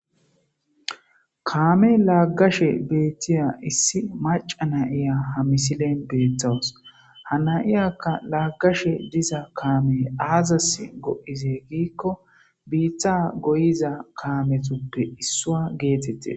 Kaame laaggashe beettiya issi maca nayiya ha misilen beettawus hanayiyakka laaggashe diza kaame aazas go7izee giikko biittha goyiza kaametoppe issua geetette.